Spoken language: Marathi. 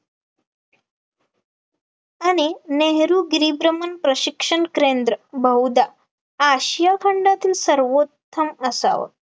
आणि नेहरूगिरी गिरिभ्रमण प्रशिक्षण केंद्र बहुधा आशिया खंडातील सर्वोत्तम असावं